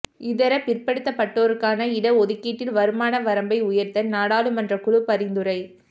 இதர பிற்படுத்தப்பட்டோருக்கான இடஒதுக்கீட்டில் வருமான வரம்பை உயா்த்த நாடாளுமன்றக் குழு பரிந்துரை